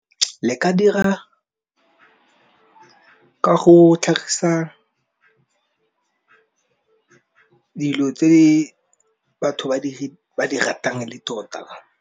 Le ka dira ka go tlhagisa dilo tse batho ba di ratang le tota.